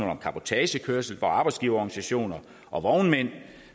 om cabotagekørsel hvor arbejdsgiverorganisationer og vognmænd